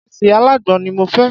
Ìrẹsì alágbọn ni mo fẹ́.